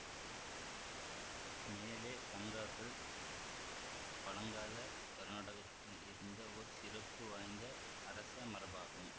மேலைக் கங்கர்கள் பழங்கால கருநாடகத்தில் இருந்த ஓர் சிறப்பு வாய்ந்த அரசமரபாகும்